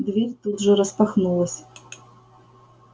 дверь тут же распахнулась